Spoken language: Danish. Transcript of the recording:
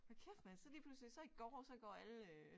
Hold kæft mand så lige pludselig så i går så går alle øh